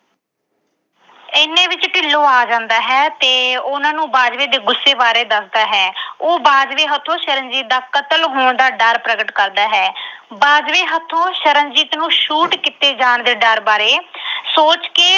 ਇੰਨੇ ਨੂੰ ਢਿੱਲੋਂ ਆ ਜਾਂਦਾ ਹੈ ਤੇ ਉਹਨਾਂ ਨੂੰ ਬਾਜਵੇ ਦੇ ਗੁੱਸੇ ਬਾਰੇ ਦੱਸਦਾ ਹੈ। ਉਹ ਬਾਜਵੇ ਹੱਥੋਂ ਸ਼ਰਨਜੀਤ ਦਾ ਕਤਲ ਹੋਣ ਦਾ ਡਰ ਪ੍ਰਗਟ ਕਰਦਾ ਹੈ। ਬਾਜਵੇ ਹੱਥੋਂ ਸ਼ਰਨਜੀਤ ਨੂੰ shoot ਕੀਤੇ ਜਾਣ ਵਾਲੇ ਡਰ ਬਾਰੇ ਸੋਚ ਕੇ